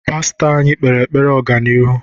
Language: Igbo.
Pastọ anyị kpere anyị ekpere ọganihu.